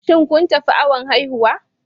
Shin kun tafi awon haihuwa?